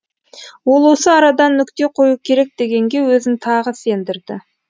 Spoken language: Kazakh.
ол осы арадан нүкте қою керек дегенге өзін тағы сендірді